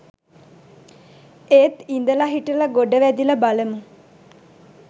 ඒත් ඉඳලා හිටලා ගොඩ වැදිලා බලමු